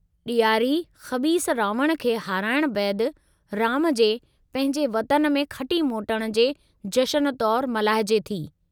ॾियारी ख़बीस रावण खे हराइणु बैदि राम जे पंहिंजे वतन में खटी मोटण जे जशन तौरु मल्हाइजे थी।